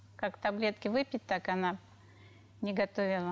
как таблетки выпит так она не готовила